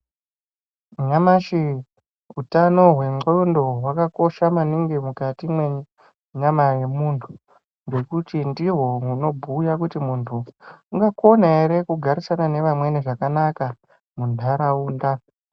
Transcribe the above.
Nyamashi utano hwendxondo hwakakosha maningi mukati mwenyama yemuntu ngekuti ndiho hunobhuya muntu unokona ere kugarisana nevamweni zvakanaka mundaraunda.